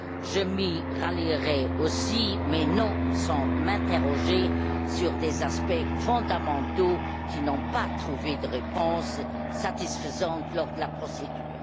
je m'y rallierai aussi mais non sans m'interroger sur des aspects fondamentaux qui n'ont pas trouvé de réponse satisfaisante lors de la procédure.